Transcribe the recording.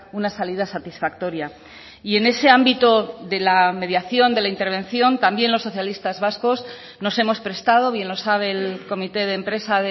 una salida satisfactoria y en ese ámbito de la mediación de la intervención también los socialistas vascos nos hemos prestado bien lo sabe el comité de empresa